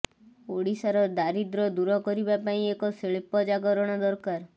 ଓଡ଼ିଶାର ଦାରିଦ୍ର୍ୟ ଦୂର କରିବା ପାଇଁ ଏକ ଶିଳ୍ପ ଜାଗରଣ ଦରକାର